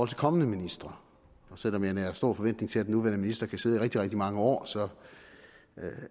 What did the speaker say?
til kommende ministre og selv om jeg nærer stor forventning til at den nuværende minister kan sidde i rigtig rigtig mange år så